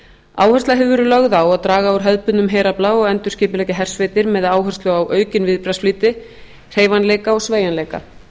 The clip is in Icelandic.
áhersla hefur verið lögð á að draga úr hefðbundnum herafla og endurskipuleggja hersveitir með áherslu á aukinn viðbragðsflýti hreyfanleika og sveigjanleika